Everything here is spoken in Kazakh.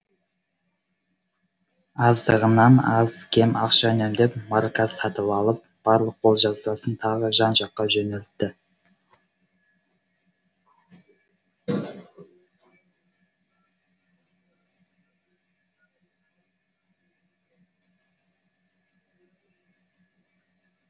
азығынан аз кем ақша үнемдеп марка сатып алып барлық қолжазбасын тағы жан жаққа жөнелтті